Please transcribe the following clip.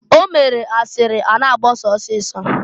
O mere asịrị a na-agbasa ọsịịsọ.